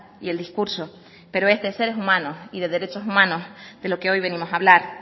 y el discurso pero es de seres humanos y de derechos humanos de lo que hoy venimos a hablar